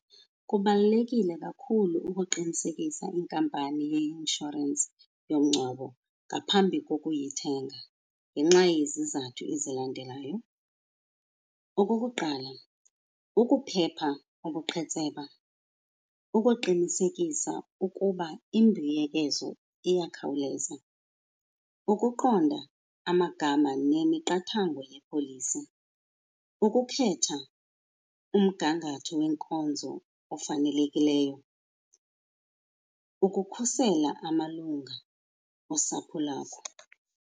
Kubalulekile kakhulu ukuqinisekisa inkampani yeinshorensi yomngcwabo ngaphambi kokuyithenga ngenxa yezizathu ezilandelayo. Okokuqala, ukuphepha ubuqhetseba, ukuqinisekisa ukuba imbuyekezo iyakhawuleza, ukuqonda amagama nemiqathango yepolisi, ukukhetha umgangatho wenkonzo ofanelekileyo, ukukhusela amalunga osapho lakho.